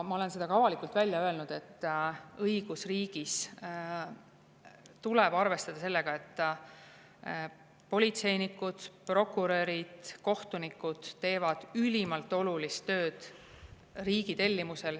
Ma olen seda ka avalikult välja öelnud, et õigusriigis tuleb arvestada sellega, et politseinikud, prokurörid, kohtunikud teevad ülimalt olulist tööd riigi tellimusel.